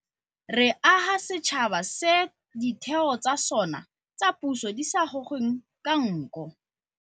Re aga setšhaba se ditheo tsa sona tsa puso di sa gogweng ka nko.